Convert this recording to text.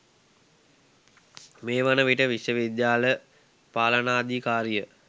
මේ වන විට විශ්වවිද්‍යාල පාලනාධිකාරිය